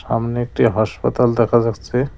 সামনে একটি হাসপাতাল দেখা যাচ্ছে।